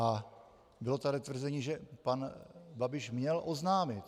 A bylo tady tvrzení, že pan Babiš měl oznámit.